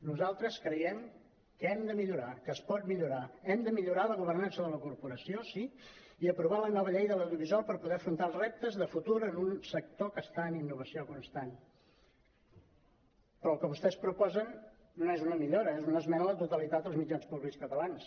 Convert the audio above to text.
nosaltres creiem que hem de millorar que es pot millorar hem de mi·llorar la governança de la corporació sí i aprovar la nova llei de l’audiovisual per poder afrontar els reptes de futur en un sector que està en innovació constant però el que vostès proposen no és una millora és una esmena a la totalitat als mitjans pú·blics catalans